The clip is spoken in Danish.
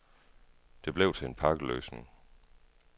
Det blev til en pakkeløsning.